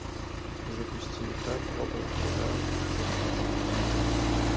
запусти игра проба пера в смартапах